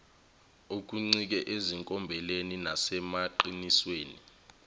okuncike ezinkombeni nasemaqinisweni